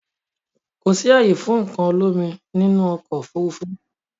Kò sì ààyè fún nǹkan olómi nínú ọkọ̀ Òfurufú